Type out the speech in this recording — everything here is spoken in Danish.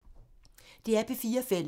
DR P4 Fælles